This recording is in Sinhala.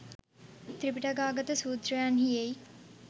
ත්‍රිපිටකාගත සූත්‍රයන්හි එයි.